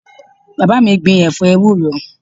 Bàbá mi gbìn ẹ̀fọ́ ewúro